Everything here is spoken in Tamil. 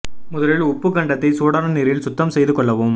முதலில் உப்புக் கண்டத்தை சூடான நீரில் சுத்தம் செய்து கொள்ளவும்